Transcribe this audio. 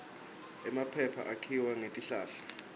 emaphepha akhiwa ngetihlahla